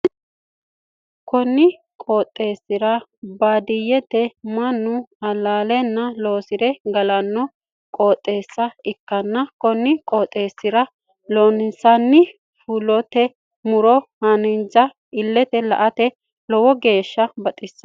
Kunni qooxeesi baadiyete mannu alaa'lenna loosire galanno qooxeesa ikanna konni qooxeesira loonseenna fultino muro haanja ilete la'ate lowo geesha baxisano